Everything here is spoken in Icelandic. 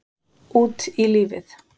Út í lífið